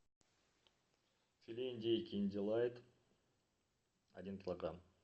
филе индейки индилайт один килограмм